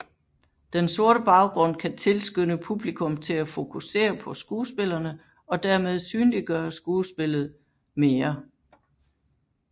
Den sorte baggrund kan tilskynde publikum til at fokusere på skuespillerne og dermed synliggøre skuespillet mere